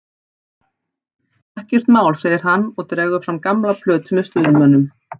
Ekkert mál, segir hann og dregur fram gamla plötu með Stuðmönnum.